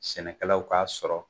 Sɛnɛkɛlaw k'a sɔrɔ.